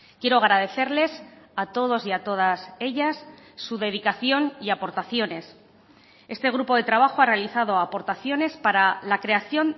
quiero agradecerles a todos y a todas ellas su dedicación y aportaciones este grupo de trabajo ha realizado aportaciones para la creación